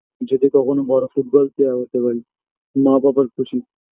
যদি কখনো বড়ো ফুটবল player হতে পারি মা বাবার খুশি